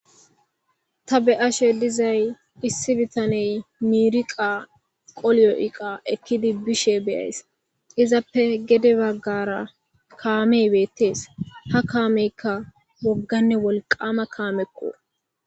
Ta be ashe dizay issi bitaney miiriqa qolyo'qa ekkidi bishe beyays izappe gede baggara kaamey beettees ha kaameykka wogganne wolqama kaameqqu